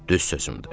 Düz sözümdür.